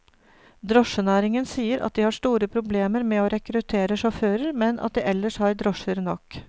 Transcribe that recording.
Drosjenæringen sier at de har store problemer med å rekruttere sjåfører, men at de ellers har drosjer nok.